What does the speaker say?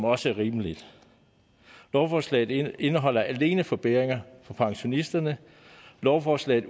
også er rimeligt lovforslaget indeholder alene forbedringer for pensionisterne lovforslaget